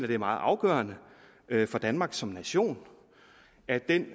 det er meget afgørende for danmark som nation at den